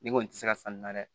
Ne kɔni ti se ka sanni na dɛ